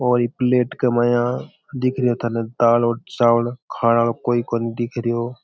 और ये प्लेट माया दिख रहा है थाने दाल या चावल खाने आरो कोई कोनी दिखरो है।